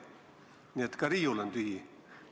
Nii et ka riiul on tühi.